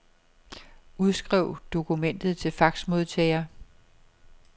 Udskriv dokumentet til faxmodtager.